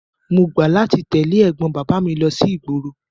Mo gbà láti tẹ̀lé ẹ̀gbọ́n bàbá mi lọ sí ìgboro.